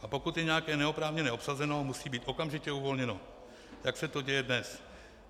A pokud je nějaké neoprávněně obsazeno, musí být okamžitě uvolněno, jak se to děje dnes.